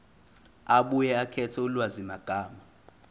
abuye akhethe ulwazimagama